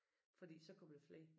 Fordi så kommer der flere